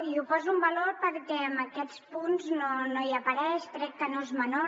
i ho poso en valor perquè en aquests punts no hi apareix i crec que no és menor